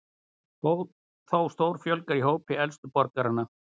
Þá stórfjölgar í hópi elstu borgaranna